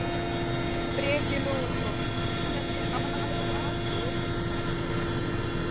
Breki Logason: Þetta er áhættuatriði?